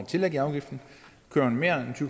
tillæg i afgiften